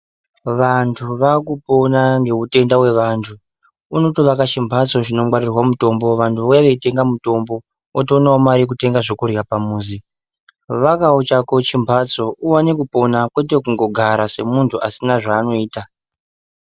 Vantu vakupona ngeutenda wevantu, unotovaka chimhatso chinongwarirwa mitombo, vantu vouya veitenga mitombo otoonawo mari yekutenga zvekurya pamuzi. Vakawo chako chimbatso kwete kungogara semuntu asina zvaanoita.